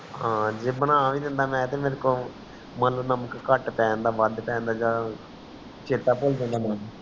ਹਨ ਜੇ ਬਣਾ ਵੀ ਦਿੰਦਾ ਮੇਰਕੋ ਨਾਮਕ ਕਟ ਪੇਂਦਾ ਵਾਦ ਪੇਂਦਾ ਆ ਚੇਤਾ ਪੁਲ ਜਾਂਦਾ ਮੇਨੂ